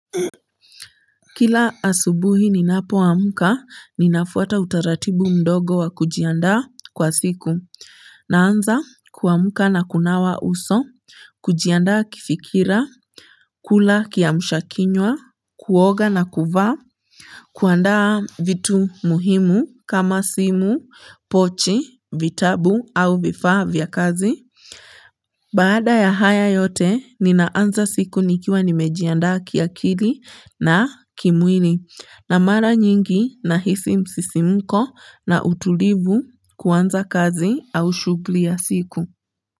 Kila asubuhi ninapoamka, ninafuata utaratibu mdogo wa kujiandaa kwa siku. Naanza kuamka na kunawa uso, kujiandaa kifikira, kula kiamshakinywa, kuoga na kuvaa, kuandaa vitu muhimu kama simu, pochi, vitabu au vifaa vya kazi. Baada ya haya yote ninaanza siku nikiwa nimejiandaa kiakili na kimwili na mara nyingi nahisi msisimko na utulivu kuanza kazi au shugli ya siku.